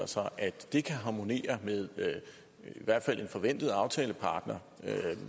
sig at det kan harmonere med en i hvert fald forventet aftalepartners df